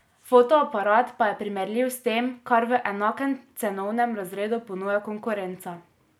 Fotoaparat pa je primerljiv s tem, kar v enakem cenovnem razredu ponuja konkurenca.